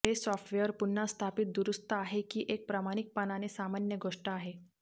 हे सॉफ्टवेअर पुन्हा स्थापित दुरुस्त आहे की एक प्रामाणिकपणाने सामान्य गोष्ट आहे